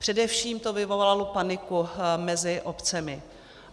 Především to vyvolalo paniku mezi obcemi.